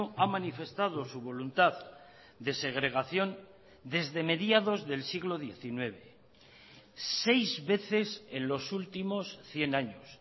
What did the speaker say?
ha manifestado su voluntad de segregación desde mediados del siglo diecinueve seis veces en los últimos cien años